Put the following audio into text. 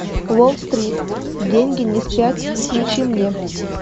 уолл стрит деньги не спят включи мне